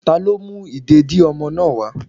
talo mú ìdédi ọmọ náà wa.